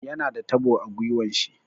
Yana da tabo a gwiwan shi.